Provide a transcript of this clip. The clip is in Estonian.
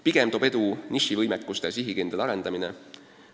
Pigem toob edu oma nišivõimekuste sihikindel arendamine.